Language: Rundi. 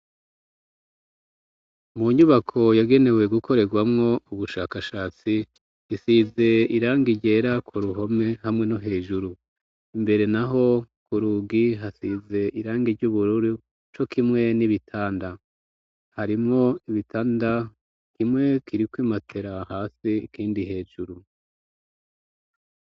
Mu nyubako yagenewe gukorerwamwo ubushakashatsi isize irangi ryera ku ruhome hamwe no hejuru, imbere naho ku rugi hasize irangi ry'ubururu co kimwe n'ibitanda harimwo ibitanda kimwe kiriko imatera hasi ikindi hejuru.